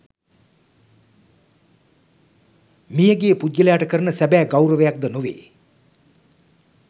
මියගිය පුද්ගලයාට කරන සැබෑ ගෞරවයක් ද නොවේ.